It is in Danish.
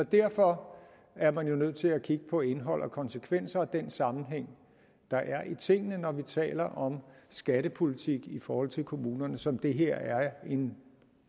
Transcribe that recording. derfor er man jo nødt til at kigge på indhold og konsekvenser og på den sammenhæng der er i tingene når vi taler om skattepolitik i forhold til kommunerne som det her er en